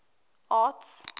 arts